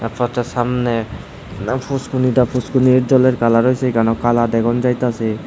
আ ফটোর সামনে না পুসকুনিটা পুসকুনি জলের কালার হইসে কেন কালা দেখোন যাইতাসে।